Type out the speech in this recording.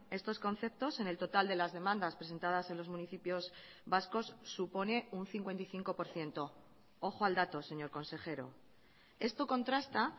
estos conceptos en el total de las demandas presentadas en los municipios vascos supone un cincuenta y cinco por ciento ojo al dato señor consejero esto contrasta